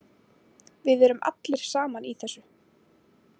Við erum allir saman í þessu.